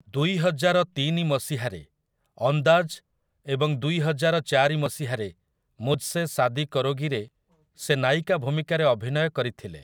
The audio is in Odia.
ଦୁଇହଜାର ତିନି ମସିହାରେ 'ଅନ୍ଦାଜ୍' ଏବଂ ଦୁଇହଜାର ଚାରି ମସିହାରେ 'ମୁଝ୍‌ସେ ଶାଦି କରୋଗି'ରେ ସେ ନାୟିକା ଭୂମିକାରେ ଅଭିନୟ କରିଥିଲେ ।